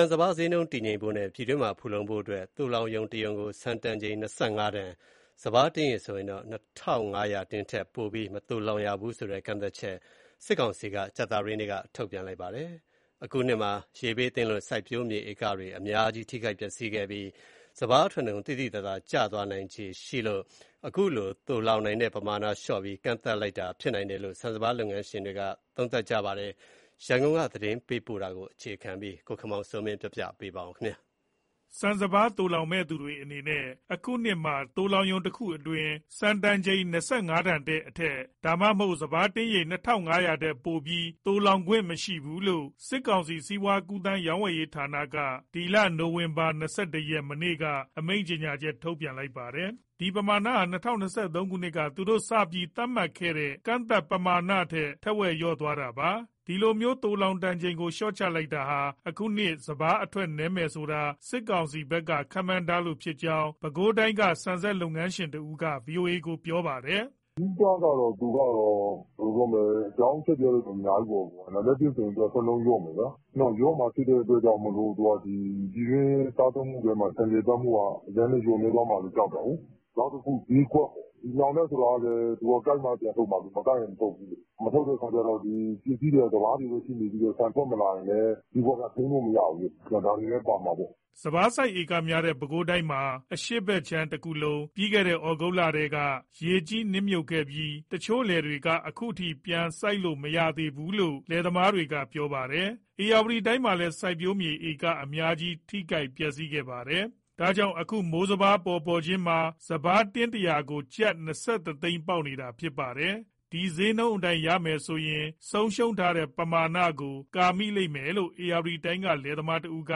န်၊ စပါးဈေးနှုန်းတည်ငြိမ်ဖို့နဲ့ ပြည်တွင်းမှာ ဖူလုံဖို့ သိုလှောင်ရုံတရုံကို ဆန်တန်ချိန် ၂၅တန် - စပါးတင်းရေ ၂,၅၀၀ထက်ပိုပြီး မသိုလှောင်ရဘူးဆိုတဲ့ကန့်သတ်ချက်ကို စစ်ကောင်စီက ကြာသပတေးနေ့က ထုတ်ပြန်လိုက်ပါတယ်။ အခုနှစ်မှာ ရေဘေးသင့်လို့စိုက်ပျိုးမြေဧကတွေ အများကြီး ထိခိုက်ပျက်စီးခဲ့ပြီး စပါးအထွက်နှုန်း သိသိသာသာကျသွားနိုင်ခြေရှိတဲ့အတွက် အခုလို သိုလှောင်နိုင်တဲ့ပမာဏလျှော့ပြီး ကန့်သတ်လိုက်တာဖြစ်နိုင်တယ်လို့ ဆန်၊ စပါးလုပ်ငန်းရှင်တွေ သုံးသပ်ပါတယ်။ ရန်ကုန်က သတင်းပေးပို့ထားတာကို ကိုခင်မောင်စိုးမင်းက တင်ပြပေးထားပါတယ်။ ဆန်၊ စပါး သိုလှောင်မဲ့သူတွေအနေနဲ့ အခုနှစ်မှာ သိုလှောင်ရုံတခုမှာ ဆန်တန်ချိန် ၂၅ တန်နဲ့အထက် ဒါမှမဟုတ် စပါးတင်းရေ ၂,၅၀၀ ထက်ပိုပြီး မသိုလှောင်ရဘူးလို့ စစ်ကောင်စီ စီးပွားကူးသန်းဌာနက နိုဝင်ဘာ ၂၁ ရက်ကထုတ်ပြန်ကြေညာထားပါတယ်။ ဒီပမာဏဟာ ၂၀၂၃ ခုနှစ်က သူတို့စပြီး သတ်မှတ်ခဲ့တဲ့ ကန့်သတ်ပမာဏထက်ထက်ဝက်လျော့သွားတာပါ။ ဒီလိုမျိုး သိုလှောင်တန်ချိန်ကို လျှော့ချလိုက်တာဟာ အခုနှစ် စပါးအထွက်နည်းမယ်ဆိုတာစစ်ကောင်စီဘက်က ခန့်မှန်းထားလို့ ဖြစ်ကြောင်း ပဲခူးတိုင်းက ဆန်စက်လုပ်ငန်းရှင်တဦးက ဗွီအိုအေကို ပြောပါတယ်။ "အဓိကတော့ သူကတော့ အကြောင်းအချက်တွေကတော့ အများကြီးပေါ့၊ နံပါတ် ၁ ဆိုရင် အထွက်နှုန်း လျော့မယ်ဗျာ၊လျော့မှာဖြစ်လို့ ပြည်တွင်းစားသုံးမှုမှာ ဆန်လည်ပတ်မှုက အရင်ကထက် လျော့သွား မှာလည်း ကြောက်တာကိုး။နောက်တခု ဈေးကွက်ပေါ့။ လှောင်တဲ့သူကလည်း သူက ကိုက်မှပြန်ထုတ် မှာကိုး၊ မကိုက်ရင် မထုတ်ဘူး။ မထုတ်တဲ့အခါကျတော့ ပစ္စည်းတွေက စပါးတွေပဲဖြစ်နေပြီး ဆန် မထွက်လာရင်လည်း ဈေးကွက်က ထိန်းလို့မရဘူးလေ။ ဒါတွေလည်း ပါမှာပေါ့။" စပါးစိုက်ဧကများတဲ့ ပဲခူးတိုင်းမှာ အရှေ့ဘက်ခြမ်းတခုလုံး ဩဂုတ်လထဲမှာ ရေကြီးနစ်မြုပ်ခဲ့ပြီး တချို့လယ်တွေကအခုအထိ ပြန်မစိုက်လို့ မရသေးဘူလို့ လယ်သမားတွေက ပြောပါတယ်။ ဧရာဝတီတိုင်းမှာလည်း စိုက်ပျိုးမြေဧကအများကြီး ထိခိုက်ပျက်စီးခဲ့ပါတယ်။ ဒါကြောင့် အခုမိုးစပါး ပေါ်ပေါ်ခြင်းမှာ စပါးတင်း ၁၀၀ ကို ကျပ် ၂၁ သိန်းပေါက်နေတာ ဖြစ်ပါတယ်။ ဒီဈေးနှုန်းအတိုင်း ရမယ်ဆိုရင် ဆုံးရှုံးထားတဲ့ပမာဏကို ကာမိလိမ့်မယ်လို့ ဧရာဝတီတိုင်းကလယ်သမားတဦးက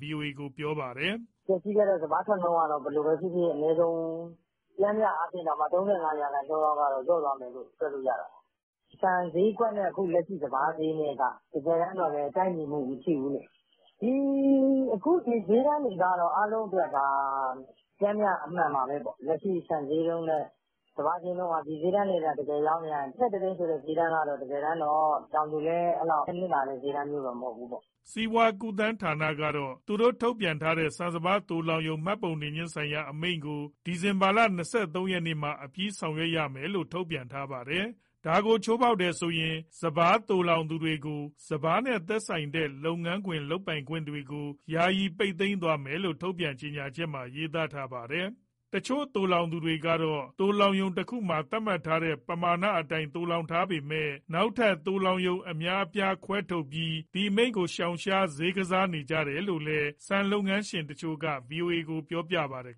ဗွီအိုအေကို ပြောပါတယ်။ "ပျက်စီးခဲ့တော့ စပါးအထွက်နှုန်းကတော့ ဘယ်လိုပဲဖြစ်ဖြစ် အနည်းဆုံး ပျမ်းမျှအားဖြင့်တောင်မှ ၃၅ ရာခိုင်နှုန်းလောက် လျော့သွားမယ်လို့ တွက်လို့ရတာပေါ့။ ဆန်ဈေးကွက်နဲ့ လက်ရှိစပါးဈေးနဲ့က တကယ်တမ်း ကိုက်ညီမှု မရှိဘူးလေ။ အခု ဒီဈေးတန်းတွေကတော့ အားလုံးအတွက် ဒါဟာ ပျမ်းမျှ အမှန်ပါပဲပေါ့။ လက်ရှိ ဆန်ဈေးနှုန်းနဲ့ စပါးက ဒီဈေးတန်းတွေသာ တကယ်ရောင်းရရင် ၂၁ သိန်းဆိုတဲ့ ဈေးတန်းကတော့ တကယ်တမ်းတော့ တောင်သူလည်း အဲလောက်နစ်နာတဲ့ ဈေးတန်းတော့ မဟုတ်ဘူးပေါ့။" စီးပွားကူးသန်းဌာနကတော့ သူတို့ထုတ်ပြန်ထားတဲ့ ဆန်စပါးသိုလှောင်ရုံ မှတ်ပုံတင်ခြင်းဆိုင်ရာအမိန့်ကို ဒီဇင်ဘာလ၂၃ ရက်မှာ အပြီးဆောင်ရွက်ရမယ်လို့ ထုတ်ပြန်ထားပါတယ်။ ဒါကို ချိုးဖောက်တယ်ဆိုရင် စပါးသိုလှောင်သူတွေကိုစပါးနဲ့သက်ဆိုင်တဲ့ လုပ်ငန်းလုပ်ကိုင်ခွင့်တွေကို ယာယီပိတ်သိမ်းသွားမယ်လို့ ထုတ်ပြန်ချက်မှာ ရေးသားထားပါတယ်။ တချို့သိုလှောင်သူတွေကတော့ သိုလှောင်ရုံတခုမှာ သတ်မှတ်ထားတဲ့ ပမာဏအတိုင်း သိုလှောင်ထား ပေမဲ့ နောက်ထပ်သိုလှောင်ရုံ အများအပြားခွဲထုတ်ပြီး ဒီအမိန့်ကို ရှောင်ရှား၊ ဈေးကစားကြတယ် လို့လည်း ဆန်လုပ်ငန်းရှင်တချို့က ဗွီအိုအေကို ပြောပြခဲ့ပါတယ်